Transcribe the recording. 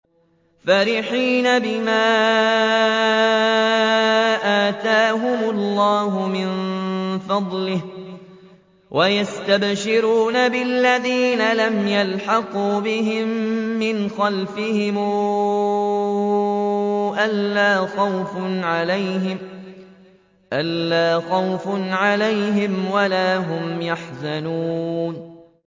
فَرِحِينَ بِمَا آتَاهُمُ اللَّهُ مِن فَضْلِهِ وَيَسْتَبْشِرُونَ بِالَّذِينَ لَمْ يَلْحَقُوا بِهِم مِّنْ خَلْفِهِمْ أَلَّا خَوْفٌ عَلَيْهِمْ وَلَا هُمْ يَحْزَنُونَ